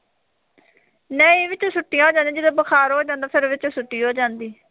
ਨਹੀਂ ਵਿੱਚੋਂ ਛੁੱਟੀਆਂ ਹੋ ਜਾਂਦੀਆਂ, ਜਦੋਂ ਬੁਖਾਰ ਹੋ ਜਾਂਦਾ ਫੇਰ ਵਿੱਚੋਂ ਛੁੱਟੀ ਹੋ ਜਾਂਦੀ